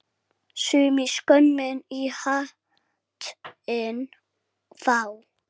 Sumir skömm í hattinn fá.